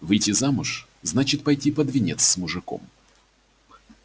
выйти замуж значит пойти под венец с мужиком